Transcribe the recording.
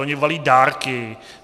Oni balí dárky.